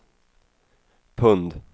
pund